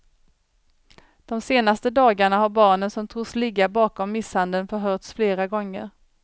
De senaste dagarna har barnen som tros ligga bakom misshandeln förhörts flera gånger.